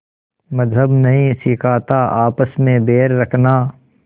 मज़्हब नहीं सिखाता आपस में बैर रखना